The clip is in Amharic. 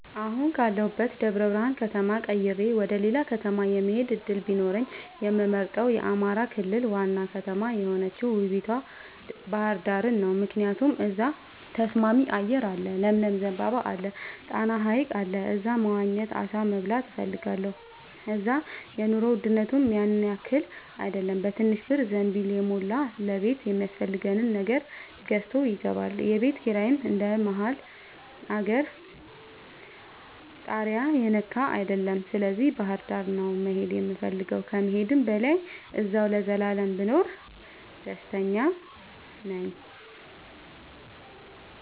አሁን ካለሁበት ደብረብርሃን ከተማ ቀይሬ ወደሌላ ከተማ የመሆድ እድል ቢኖረኝ የምመርጠው የአማራ ክልል ዋና ከተማ የሆነችውን ውቡቷ ባህርዳርን ነው። ምክንያቱም እዛ ተስማሚ አየር አለ ለምለም ዘንባባ አለ። ጣና ሀይቅ አለ እዛ መዋኘት አሳ መብላት እፈልጋለሁ። እዛ የኑሮ ውድነቱም ያንያክል አይደለም በትንሽ ብር ዘንቢልን የሞላ ለቤት የሚያስፈልግ ነገር ገዝቶ ይገባል። የቤት ኪራይም እንደ መሀል አገር ታሪያ የነካ አይደለም ስለዚህ ባህርዳር ነው መሄድ የምፈልገው ከመሄድም በላይ አዚያው ለዘላለም ብኖር ደስተኛ ነኝ።